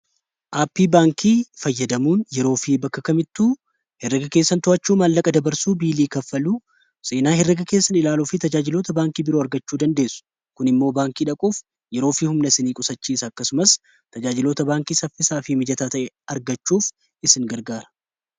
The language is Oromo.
aappii baankii fayyadamuun yeroo fi bakka kamittuu heraga keessan to'achuu maallaqa dabarsuu biilii kaffaluu seenaa herega keessan ilaaluu fi tajaajilota baankii biroo argachuu dandeessu kun immoo baankii dhaquuf yeroo fi humna sinii qusachiis akkasumas tajaajilota baankii saffisaa fii mijataa ta'e argachuuf isin gargaara